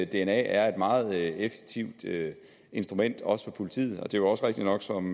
dna er et meget effektivt instrument også for politiet og det er jo også rigtigt nok som